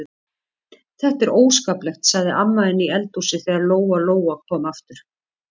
Þetta er óskaplegt, sagði amma inni í eldhúsi þegar Lóa-Lóa kom aftur.